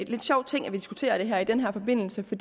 sjov ting at vi diskuterer det her i den her forbindelse for